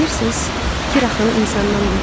Bilirsiz, fikir axını insandan deyil.